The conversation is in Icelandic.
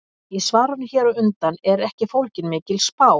Í svarinu hér á undan er ekki fólgin mikil spá.